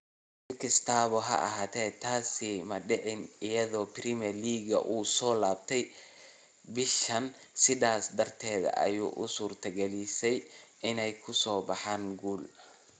Si kastaba ha ahaatee, taasi ma dhicin iyadoo Premier League uu soo laabtay bishaan sidaas darteedna ay u suurtagelisay inay ku soo baxaan guul.